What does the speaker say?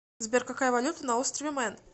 сбер какая валюта на острове мэн